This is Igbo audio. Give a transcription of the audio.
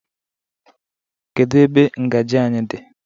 Kedu ebe ngaji anyị dị?